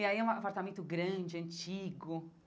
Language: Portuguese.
E aí é um apartamento grande, antigo.